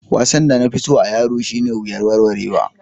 Wasan da na fi so a'yaro shine wuyar warwarewa.